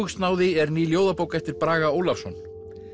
öfugsnáði er ný ljóðabók eftir Braga Ólafsson